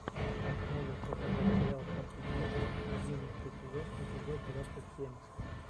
можешь показать сериал фортитьюд одиннадцатый сезон эпизод двадцать семь